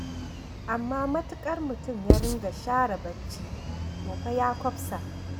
Amma matuƙar mutum ya dinga shara barci to fa ya kwafsa.